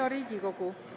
Hea Riigikogu!